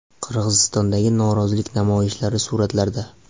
Qirg‘izistondagi norozilik namoyishlari suratlarda.